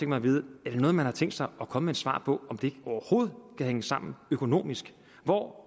mig at vide om man har tænkt sig at komme med et svar på om det overhovedet kan hænge sammen økonomisk hvor